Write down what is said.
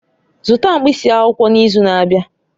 Zụta mkpịsị akwụkwọ n'izu na-abịa!